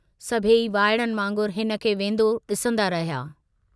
सभेई वाइड़नि वांगुरु हिनखे वेन्दो डिसन्दा रहिया।